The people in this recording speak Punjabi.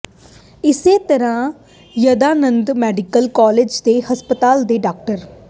ਇਸੇ ਤਰ੍ਹਾਂ ਦਯਾਨੰਦ ਮੈਡੀਕਲ ਕਾਲਜ ਤੇ ਹਸਪਤਾਲ ਦੇ ਡਾ